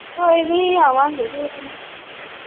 ਕੋਈ ਨੀ ਆਵਾਂਗੇ ਕਿਸੇ ਦਿਨ।